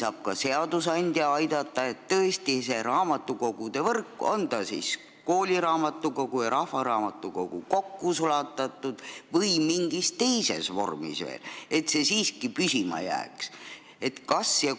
Ja kas ka seadusandja saab kuidagi kaasa aidata, et meie raamatukogude võrk, on selles siis kooliraamatukogu ja rahvaraamatukogu kokku sulatatud või on mingid teised vormid veel, siiski püsima jääks?